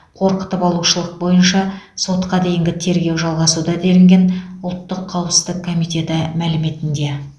қорқытып алушылық бойынша сотқа дейінгі тергеу жалғасуда делінген ұлттық қауіпсіздік комитеті мәліметінде